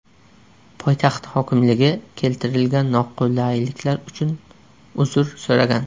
Poytaxt hokimligi keltirilgan noqulayliklar uchun uzr so‘ragan.